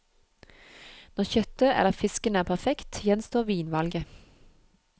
Når kjøttet eller fisken er perfekt, gjenstår vinvalget.